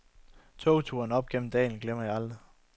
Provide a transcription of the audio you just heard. Togturen op gennem dalen glemmer jeg aldrig.